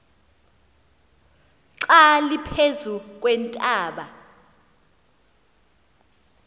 xa liphezu kweentaba